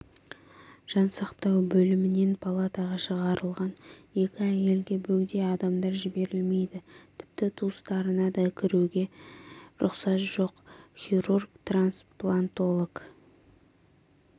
жансақтау бөлімінен палатаға шығарылған екі әйелге бөгде адамдар жіберілмейді тіпті туыстарына да кіруге рұқсат жоқ хирург-трансплантолог